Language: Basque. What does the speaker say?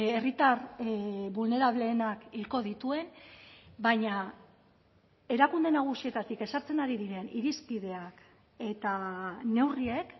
herritar vulnerableenak hilko dituen baina erakunde nagusietatik ezartzen ari diren irizpideak eta neurriek